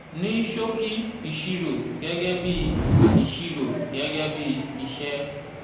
ní ṣòkì ìṣirò gẹ́gẹ́ bí ìṣirò gẹ́gẹ́ bí iṣẹ́.